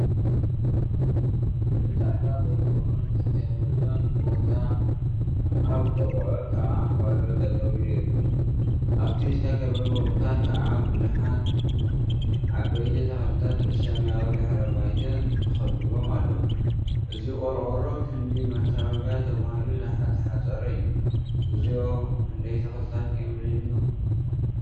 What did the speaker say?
ብፃዕዳ ቆርቆሮ ዝተካበበ ቦታ አብ ጥቅኡ ከዓ ፓሎ ጠጠወ ኢሉ ይርከብ፡፡ አብቲ ዝተካበበ ቦታ ከዓ ቡዙሓት ዓበይቲ ተክልታት ብሰማያዊ ድሕረ ባይታ ተከቢቦም አለው፡፡ እዚ ቆርቆሮ ክንዲ መካበብያ ተባሂሉ ዝተሓፀረ እዩ፡፡ እግዚኦ! ክንደይ ተክሊታት እዮም ዝኒሀው፡፡